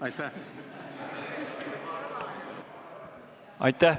Aitäh!